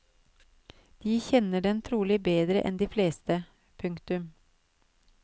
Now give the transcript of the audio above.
De kjenner den trolig bedre enn de fleste. punktum